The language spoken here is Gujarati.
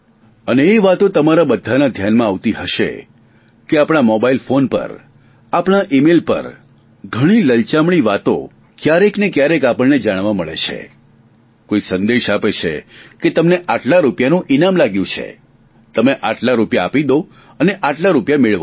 અને એ વાતો તમારા બધાના ધ્યાનમાં આવતી હશે કે આપણા મોબાઇલ ફોન પર આપણા ઇમેઇલ પર ઘણી લલચામણી વાતો ક્યારેક ને ક્યારેક આપણને જાણવા મળે છે કોઇ સંદેશ મેસેજ આપે છે કે તમને આટલા રૂપિયાનું ઇનામ લાગ્યું છે તમે આટલા રૂપિયા આપી દો અને આટલા રૂપિયા મેળવો